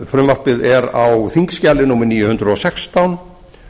frumvarpið er á þingskjali níu hundruð og sextán